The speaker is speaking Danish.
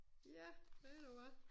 Ja ved du hvad